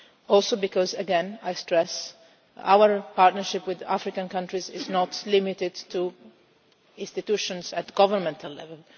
Also because again, and I stress this, our partnership with African countries is not limited to institutions at governmental level.